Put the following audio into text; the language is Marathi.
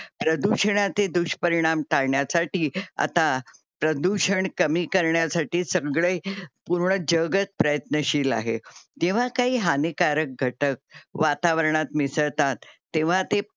प्रदूषणाचे दुष्परिणाम टाळण्यासाठी आता प्रदूषण कमी करण्यासाठी सगळे पूर्ण जगच प्रयत्नशील आहे. तेव्हा काही हानिकारक घटक वातावरणात मिसळतात तेव्हा ते